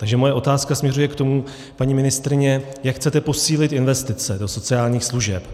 Takže moje otázka směřuje k tomu, paní ministryně, jak chcete posílit investice do sociálních služeb.